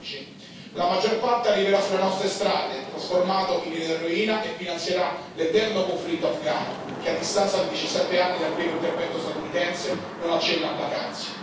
2016. La maggior parte arriverà sulle nostre strade, trasformato in eroina, e finanzierà l'eterno conflitto afghano, che a distanza di 17 anni dal primo intervento statunitense non accenna a placarsi.